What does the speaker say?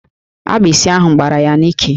Agbịsị ahụ gbará ya n'íkè